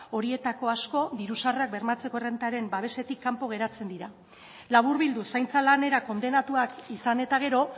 horietako asko diru sarrerak bermatzeko errentaren babesetik kanpo geratzen dira laburbilduz zaintza lanera kondenatuak izan eta gero